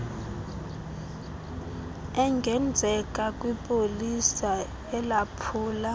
engenzeka kwipolisa elaphula